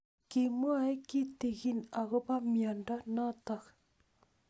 Kimwae kitig'in akopo miondo notok